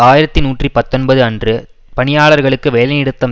ஆயிரத்தி நூற்றி பத்தொன்பது அன்று பணியாளர்களுக்கு வேலைநிறுத்தம்